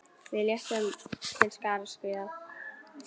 Við létum til skarar skríða.